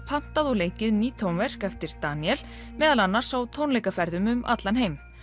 pantað og leikið ný tónverk eftir Daníel meðal annars á tónleikaferðum um allan heim